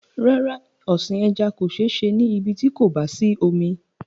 Rárá, ọ̀sìn ẹja kò sé se ní ibí tí kò bá sí omi